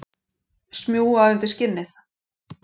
Smjúga undir skinnið.